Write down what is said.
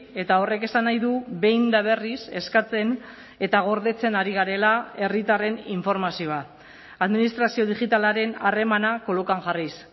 eta horrek esan nahi du behin eta berriz eskatzen eta gordetzen ari garela herritarren informazioa administrazio digitalaren harremana kolokan jarriz